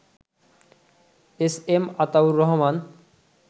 SM Ataur Rahman